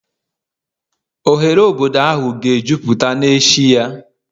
Oghere obodo ahụ ga-ejupụta n'echi ya